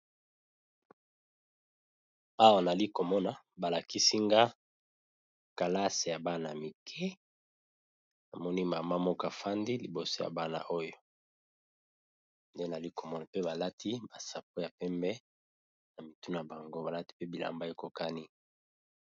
awa nali komona balakisinga kalase ya bana y mike na monimama mokafandi liboso ya bana oyo nde nali komona pe balati basapo ya pembe na mituna bango balati pe bilamba ekokani